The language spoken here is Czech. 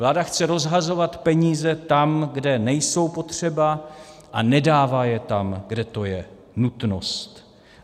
Vláda chce rozhazovat peníze tam, kde nejsou potřeba, a nedává je tam, kde to je nutnost.